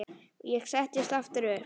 Ég settist aftur upp.